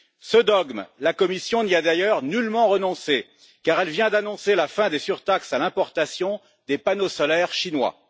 Ce dogme, la Commission n'y a d'ailleurs nullement renoncé, car elle vient d'annoncer la fin des surtaxes à l'importation des panneaux solaires chinois.